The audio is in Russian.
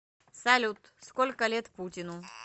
салют сколько лет путину